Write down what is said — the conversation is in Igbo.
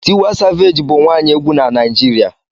Tiwa savage bụ nwaanyi egwu na Naijiria